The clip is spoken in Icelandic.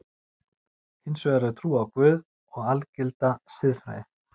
Hins vegar er trú á Guð og algilda siðfræði.